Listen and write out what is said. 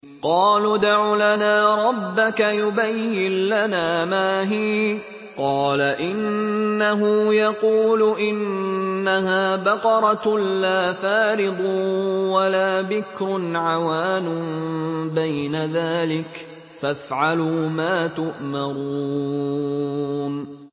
قَالُوا ادْعُ لَنَا رَبَّكَ يُبَيِّن لَّنَا مَا هِيَ ۚ قَالَ إِنَّهُ يَقُولُ إِنَّهَا بَقَرَةٌ لَّا فَارِضٌ وَلَا بِكْرٌ عَوَانٌ بَيْنَ ذَٰلِكَ ۖ فَافْعَلُوا مَا تُؤْمَرُونَ